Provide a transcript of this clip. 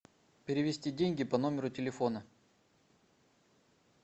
перевести деньги по номеру телефона